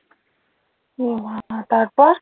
এ বাবা তার পর?